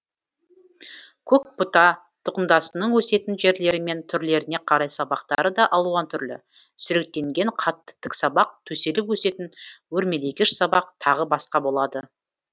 көкбұта тұқымдасының өсетін жерлері мен түрлеріне қарай сабақтары да алуан түрлі сүректенген қатты тік сабақ төселіп өсетін өрмелегіш сабақ тағы басқа болады